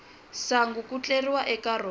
sangu ku tleriwa eka rona